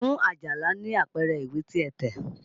Fún Àjàlá ní àpẹẹrẹ ìwé tí a tẹ̀!